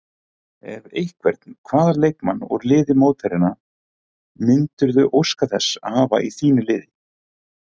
Ef einhvern, hvaða leikmann úr liði mótherjanna myndirðu óska þess að hafa í þínu liði?